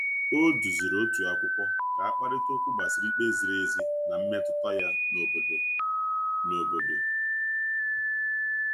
O duziri otu akwụkwọ ka a kparịta okwu gbasara ikpe ziri ezi na mmetụta ya n’obodo. n’obodo.